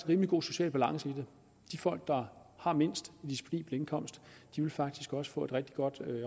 rimelig god social balance i det de folk der har mindst i disponibel indkomst vil faktisk også få et rigtig godt